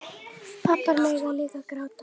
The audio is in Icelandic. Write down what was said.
Pabbar mega líka gráta.